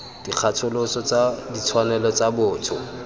dikgatholoso tsa ditshwanelo tsa botho